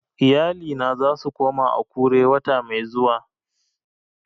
Iyalina za su koma Akure wata mai zuwa